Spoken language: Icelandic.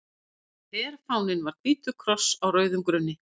Herfáninn var hvítur kross á rauðum grunni.